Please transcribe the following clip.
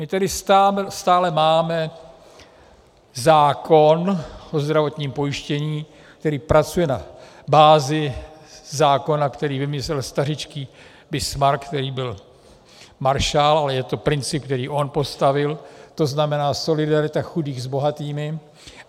My tedy stále máme zákon o zdravotním pojištění, který pracuje na bázi zákona, který vymyslel stařičký Bismarck, který byl maršál, ale je to princip, který on postavil - to znamená solidarita chudých s bohatými.